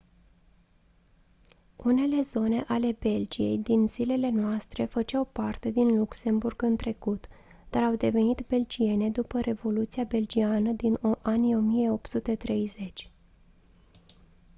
unele zone ale belgiei din zilele noastre făceau parte din luxemburg în trecut dar au devenit belgiene după revoluția belgiană din anii 1830